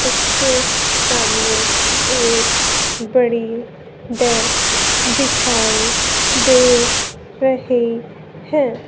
उसके सामने एक बड़ी डेस्क दिखाई दे रही है।